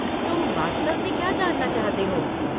तुम वास्तव में क्या जानना चाहते हो?